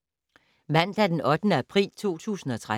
Mandag d. 8. april 2013